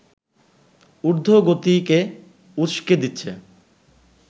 ঊর্ধ্বগতিকে উসকে দিচ্ছে